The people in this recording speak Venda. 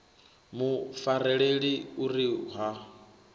mu fareleni u ri ha